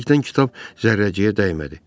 Xoşbəxtlikdən kitab zərrəciyə dəymədi.